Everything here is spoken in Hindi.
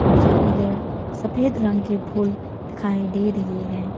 मुझे इधर सफेद रंग के फूल दिखाई दे रही है।